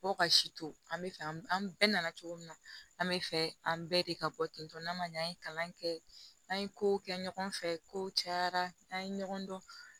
Fo ka si to an bɛ fɛ an bɛɛ nana cogo min na an bɛ fɛ an bɛɛ de ka bɔ tentɔ n'a ma ɲɛ an ye kalan kɛ n'an ye kow kɛ ɲɔgɔn fɛ ko cayara n'an ye ɲɔgɔn dɔn